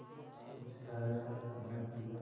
कुछ खाया न पिया